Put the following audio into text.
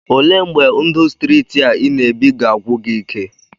Olee mgbe ndụ streeti a ị na-ebi ga-agwụ gị ike?